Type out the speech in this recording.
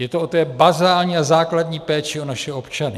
Je to o té bazální a základní péči o naše občany.